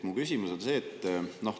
Mu küsimus on see.